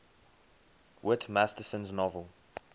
whit masterson's novel